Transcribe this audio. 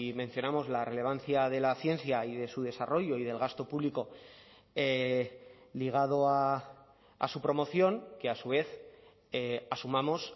mencionamos la relevancia de la ciencia y de su desarrollo y del gasto público ligado a su promoción que a su vez asumamos